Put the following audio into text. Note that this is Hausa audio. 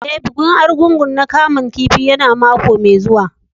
E,bikin Argungu na kaman kifi ya na mako mai zuwa.